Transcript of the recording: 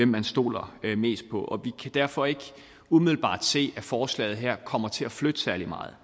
man stoler mest på og vi kan derfor ikke umiddelbart se at forslaget her kommer til at flytte særlig meget